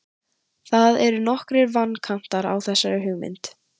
Það eru nokkrir vankantar á þessari hugmynd.